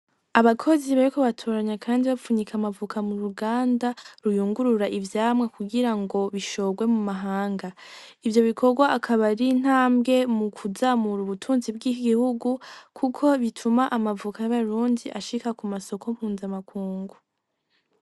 Abakozi bariko batunganya kandi bariko bapfunika amavoka mu ruganda ruyungurura ivyamwa, kugira ngo bishogwe mu mahanga ivyo bikogwa akaba ari intambwe mu kuzamura ubutunzi bw'igihugu kuko bituma amavoka y'abarundi ashika ku masoko mpuza makungu.